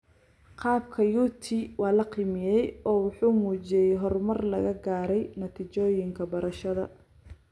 Qaabka UT waa la qiimeeyay oo wuxuu muujiyay horumar laga gaaray natiijooyinka barashada.